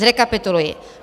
Zrekapituluji.